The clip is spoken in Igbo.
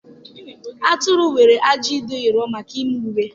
Atụrụ nwere ajị dị nro maka ime uwe.